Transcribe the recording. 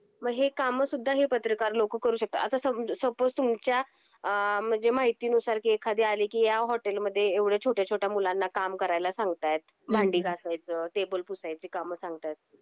मग हे काम सुद्धा हे पत्रकार लोक करू शकता. आता सम सपोस तुमच्याआ म्हणजे माहिती नुसार कि एखादी आली कि ह्या हॉटेल मध्ये एवढ्या छोट्या छोट्या मुलांना काम करायला सांगता आहेत. हम्म भांडी घासायच टेबल पुसायची कामसांगता आहेत.